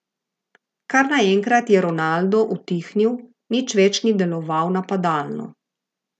Kar naenkrat je Ronaldo utihnil, nič več ni deloval napadalno.